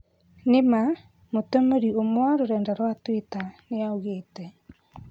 "Nĩma", mũtũmĩri ũmwe wa rurenda rwa Twitter nĩaugĩte